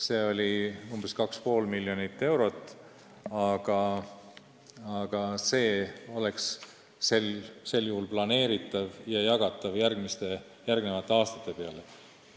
See on umbes kuus miljonit eurot, aga see oleks planeeritav kasutada järgmistel aastatel.